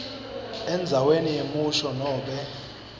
endzaweni yemusho nobe